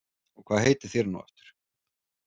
Og hvað heitið þér nú aftur